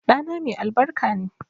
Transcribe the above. Ɗana mai albarka ne